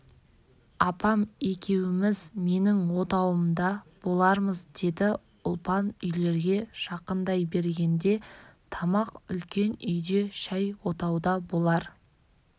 апам екеуміз менің отауымда болармыз деді ұлпан үйлерге жақындай бергенде тамақ үлкен үйде шай отауда болар